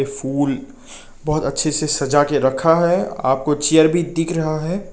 फूल बहुत अच्छे से सजा के रखा है आपको चेयर भी दिख रहा है।